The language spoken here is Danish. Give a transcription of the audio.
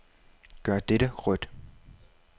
Gør dette rødt.